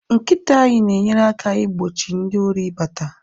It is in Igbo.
nkita anyi na enyere aka igbochi ndi Ori ibata